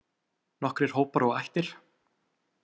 Nokkrir hópar og ættir.